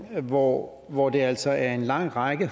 hvor hvor det altså er en lang række